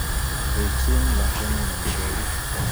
Rirchin lakwanon omitwo'kik